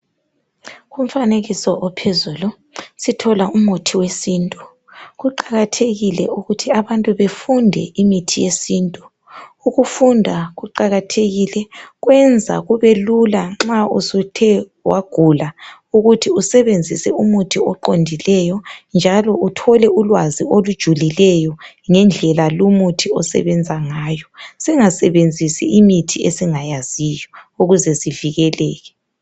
Umfanekiso lo utshengisa umuthi wesintu, kuqakathekile ukuthi sifunde ngemithi yesintu ,kwenza kubelula nxa suthe wagula usebenzie umuthi oqondileyo njalo uthole ulwazi olujulileyo ngemithi singasebenzisi imithi esingayaziyo ukuze sivikeleke.